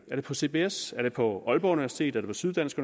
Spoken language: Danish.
det på cbs er det på aalborg universitet er det på syddansk